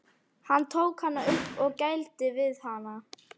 Hann tók hana upp og gældi við hana.